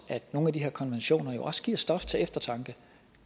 at nogle af de her konventioner jo også giver stof til eftertanke